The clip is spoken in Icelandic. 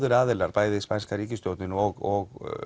bæði spænska ríkisstjórnin og